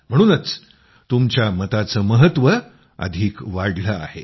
म्हणूनच तुमच्या मताचं महत्व अधिक वाढलं आहे